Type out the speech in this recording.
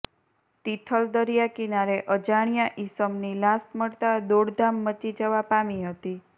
તિથલ દરિયા કિનારે અજાણ્યા ઈસમની લાશ મળતા દોડધામ મચી જવા પામી હતી